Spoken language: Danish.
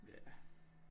Ja